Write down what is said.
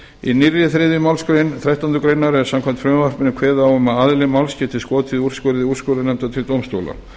í nýrri þriðju málsgrein þrettándu grein er samkvæmt frumvarpinu kveðið á um að aðili máls geti skotið úrskurði úrskurðarnefndar til dómstóla